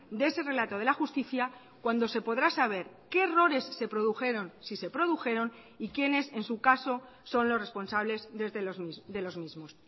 de ese relato de la justicia cuando se podrá saber qué errores se produjeron si se produjeron y quiénes en su caso son los responsables de los mismos